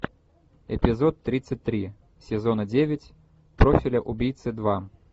эпизод тридцать три сезона девять профиля убийцы два